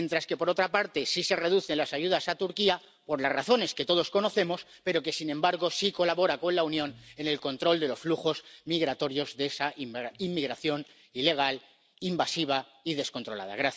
mientras que, por otra parte, sí se reducen las ayudas a Turquía —por las razones que todos conocemos—, que, sin embargo, sí colabora con la Unión en el control de los flujos migratorios de esa inmigración ilegal, invasiva y descontrolada.